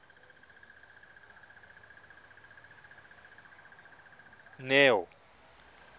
neo